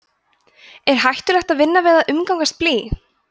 er hættulegt að vinna við eða umgangast blý